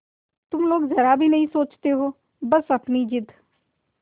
तुम लोग जरा भी नहीं सोचती हो बस अपनी जिद